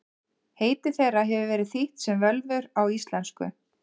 Heiti þeirra hefur verið þýtt sem völvur á íslensku.